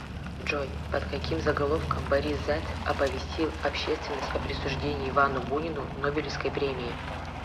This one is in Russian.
джой под каким заголовком борис зайцев оповестил общественность о присуждении ивану бунину нобелевской премии